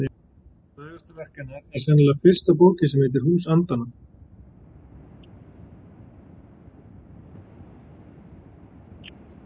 Frægasta verk hennar er sennilega fyrsta bókin sem heitir Hús andanna.